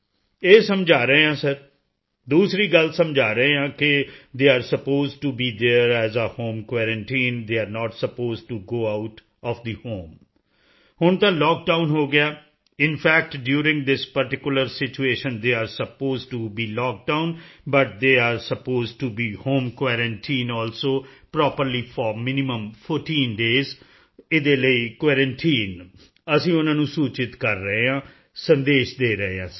ਇਹ ਸਮਝਾ ਰਹੇ ਹਾਂ ਸਰ ਦੂਸਰੀ ਗੱਲ ਸਮਝਾ ਰਹੇ ਹਾਂ ਕਿ they are supposed to be there as a home quarantine they are not supposed to go out of the home ਹੁਣ ਤਾਂ ਲੌਕਡਾਊਨ ਹੋ ਗਿਆ ਹੈ in fact during this particular situation they are supposed to be lockdown but they are supposed to be home quarantine also properly for minimum 14 days ਦੇ ਲਈ quarantine ਅਸੀਂ ਉਨ੍ਹਾਂ ਨੂੰ ਸੂਚਿਤ ਕਰ ਰਹੇ ਹਾਂ ਸੰਦੇਸ਼ ਦੇ ਰਹੇ ਹਾਂ ਸਰ